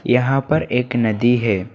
यहां पर एक नदी है।